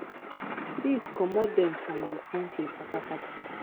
dis comot dem from di kontri patapata